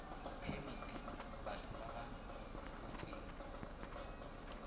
phemiti batho ba ba rotseng